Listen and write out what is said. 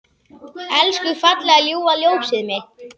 Elsku fallega ljúfa ljósið mitt.